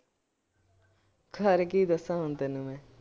ਖਿਲਾਰੇ ਹੁਣ ਤੈਨੂੰ ਕੀ ਦੱਸਾ ਮੈਂ।